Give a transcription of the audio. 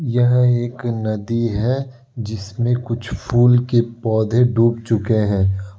यह एक नदी है जिसमे कुछ फूल के पौधे डूब चुके हैं।